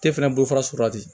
Te fɛnɛ bolo fara sɔrɔla ten